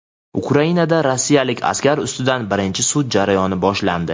Ukrainada rossiyalik askar ustidan birinchi sud jarayoni boshlandi.